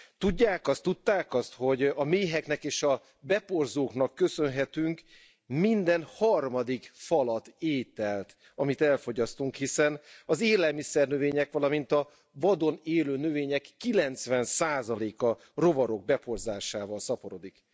Tudják azt, tudták azt, hogy a méheknek és a beporzóknak köszönhetünk minden harmadik falat ételt, amit elfogyasztunk, hiszen az élelmiszernövények, valamint a vadon élő növények 90 százaléka rovarok beporzásával szaporodik?